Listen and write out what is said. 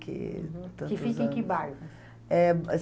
que tantos anos. Que fica em que bairro? É...